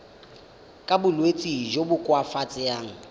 ka bolwetsi jo bo koafatsang